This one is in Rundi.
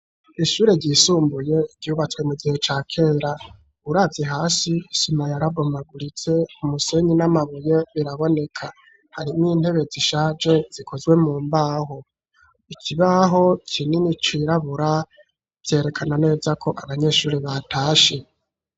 Ishure ryisumbuye ryubatswe mu gihe ca kera uravye hasi isima yarabomaguritse umusenyi n'amabuye biraboneka harimwo intebe zishaje zikozwe mu mbaho ikibaho kinini cirabura vyerekana neza ko abanyeshure batashe.